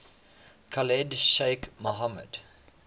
khalid sheikh mohammed